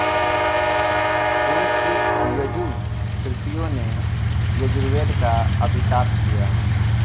उन इन यजुःश्रुतियों ने इस यजुर्वेद का अभिताप किया